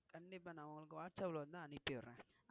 கண்டிப்பா. நான் உங்களுக்கு Whatsapp ல வந்து அனுப்பிவிடுறேன்.